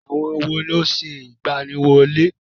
Àwọn wo ló ń ṣe ìgbaniwọlé?